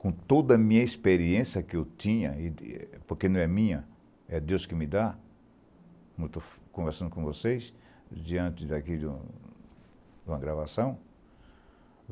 com toda a minha experiência que eu tinha, porque não é minha, é Deus que me dá, como estou conversando com vocês, diante daqui de uma gravação.